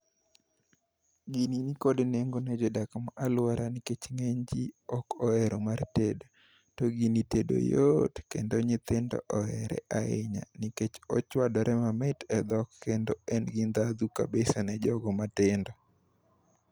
Gini nikod nengo ne jodak ma alwora nikech ng'eny ji ok ohero mar tedo. To gini tedo yot kendo nyithindo ohere ahinya nikech ochwadore mamit e dhok kendo en gi ndhadhu kabisa ne jogo matindo.